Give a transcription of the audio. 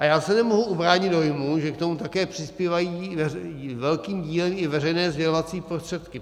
A já se nemohu ubránit dojmu, že k tomu také přispívají velkým dílem i veřejné sdělovací prostředky.